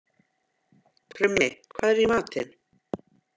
Krummi, hvað er í matinn?